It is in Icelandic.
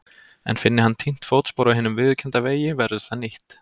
En finni hann týnt fótspor á hinum viðurkennda vegi verður það nýtt.